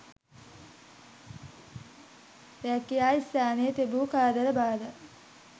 රැකියා ස්ථානයේ තිබූ කරදර බාධා